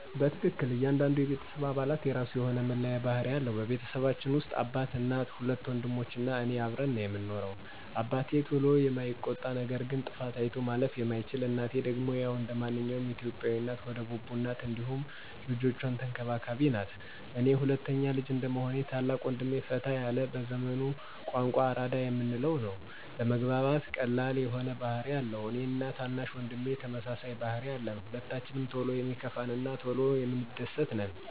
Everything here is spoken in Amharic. በትክክል ! እያንዳንዱ የቤተሰብ አባላት የራሱ የሆነ መለያ ባህሪ አለው። በቤተሰባችን ውስጥ አባት፣ እናት፣ ሁለት ወንድሞች እና እኔ አብረን ነው ምንኖረው። አባቴ ቶሎ የማይቆጣ ነገር ግን ጥፋት አይቶ ማለፍ የማይችል ነው፤ እናቴ ደግሞ ያው እንደማንኛውም የኢትዮጲያ እናት ሆደ ቡቡ ናት እንዲሁም ልጆቿን ተንከባካቢም ናት፤ እኔ ሁለተኛ ልጅ እንደመሆኔ ታላቅ ወንድሜ ፈታ ያለ በዘመኑ ቋንቋ አራዳ የምንለው ነው። ለመግባባት ቀላል የሆነ ባህሪ አለው፤ እኔ እና ታናሽ ወንድሜ ተመሳሳይ ባህሪ አለን። ሁለታችንም ቶሎ የሚከፋን እና ቶሎ የምንደስት ነን።